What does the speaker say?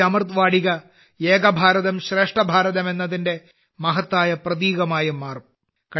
ഈ അമൃത് വാടിക ഏക ഭാരതം ശ്രേഷ്ട ഭാരതം എന്നതിന്റെ മഹത്തായ പ്രതീകമായും മാറും